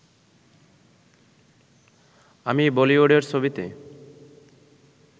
আমি বলিউডের ছবিতে